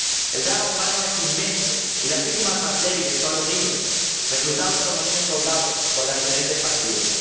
El drama humano es inmenso y las víctimas más débiles son los niños, reclutados como niños soldados por las diferentes facciones.